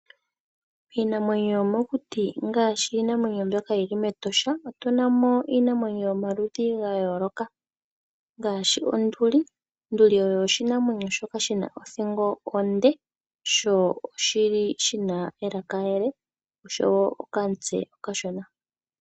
Iinamwenyo yomokuti ngaashi iinamwenyo mbyoka yili meEtosha, otunamo iinamwenyo yomaludhi gayooloka, ngaashi onduli. Onduli oshinamwenyo shoka shina othingo onde, sho shili shina elaka ele oshowo okamutse okashona.